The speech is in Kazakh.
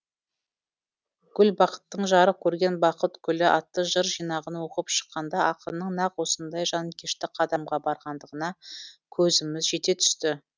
гүлбақыттың жарық көрген бақыт гүлі атты жыр жинағын оқып шыққанда ақынның нақ осындай жанкешті қадамға барғандығына көзіміз жете түсті